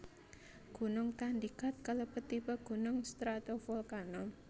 Gunung Tandikat kalebet tipe gunung stratovolcano